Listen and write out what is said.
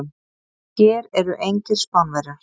Hér eru engir Spánverjar.